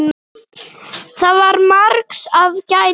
Það var margs að gæta.